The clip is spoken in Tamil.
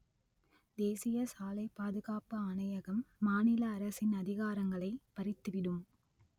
தேசிய சாலை பாதுகாப்பு ஆணையகம் மாநில அரசின் அதிகாரங்களை பறித்துவிடும்